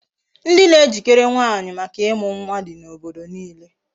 Ndị na ejikere nwaanyị maka ịmụ nwa di n'obodo niile.